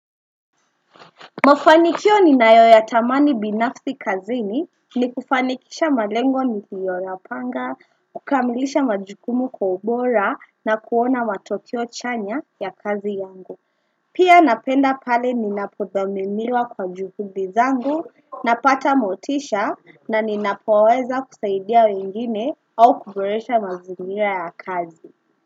Mafanikio ninayo yatamani binafsi kazini ni kufanikisha malengo niliyoyapanga, kukamilisha majukumu kwa ubora na kuona matokeo chanya ya kazi yangu. Pia napenda pale ninapodhaminiwa kwa juhudi zangu napata motisha na ninapoweza kusaidia wengine au kuboresha mazingira ya kazi.